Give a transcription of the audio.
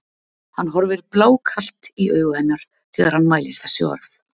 Hann horfir blákalt í augu hennar þegar hann mælir þessi orð.